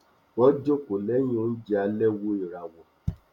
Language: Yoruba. wọn jókòó lẹyìn onjẹ alẹ wo ìràwọ